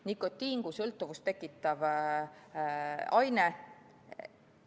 Nikotiini kui sõltuvust tekitavat ainet.